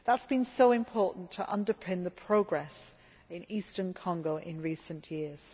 That has been so important to underpin the progress in eastern Congo in recent years.